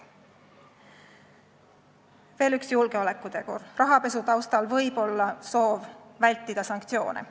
Veel üks julgeolekutegur: rahapesu taustal võib olla soov vältida sanktsioone.